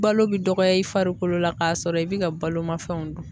Balo bɛ dɔgɔya i farikolo la k'a sɔrɔ i bɛ ka baloma fɛnw dun.